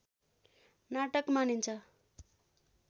नाटक मानिन्छ